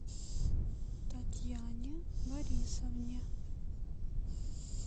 татьяне борисовне